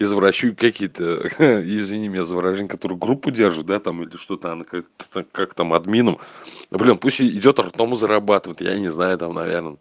извращенцы какие-то извини меня за выражение которые группу держат да там или что-то оно как-то так как там админам блядь пусть идёт там ртом зарабатывает я не знаю там наверное